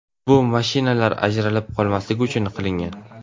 Bu mashinalar ajralib qolmasligi uchun qilingan.